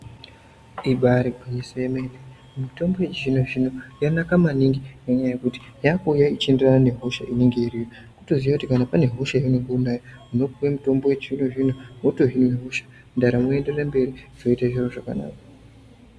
Ibari gwinyiso yemene mitombo yechizvinzvino yanaka maningi ngenyaya yekuti yakuuya ichienderena nehosha inenge iriyo kutoziye kuti kana pane hosha yaunenge unayo unopuwe mutombo wechizvinozvino wotoziye hosa ndaramo yoenderera mberi.